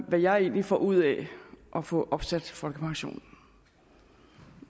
hvad jeg egentlig får ud af at få opsat folkepensionen